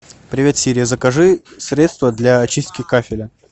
привет сири закажи средство для чистки кафеля